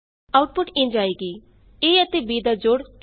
output ਇੰਝ ਆਏਗੀ a ਅਤੇ b ਦਾ ਜੋੜ 30 ਹੈ